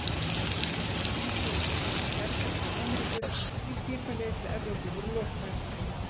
Í fyrsta sinn í sögunni berast bjargir frá Ameríku, því skipaleiðir til Evrópu voru lokaðar.